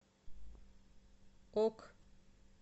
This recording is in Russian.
ок